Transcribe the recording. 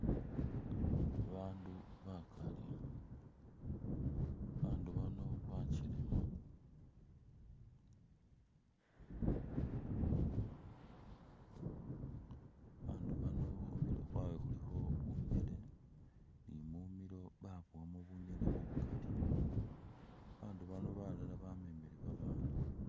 Bandu bakaali, bandu bano bachelema abandu bano khumurwe khwabwe khulikho bunyele ni mumilo babowanu bunyele bukaali babandu bano balala bamemile babana